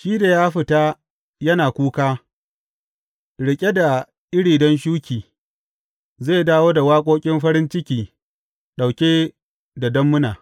Shi da ya fita yana kuka, riƙe da iri don shuki, zai dawo da waƙoƙin farin ciki, ɗauke da dammuna.